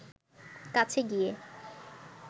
কাছে গিয়ে